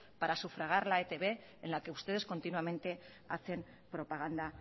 para sufragar la etb en la que ustedes continuamente hacen propaganda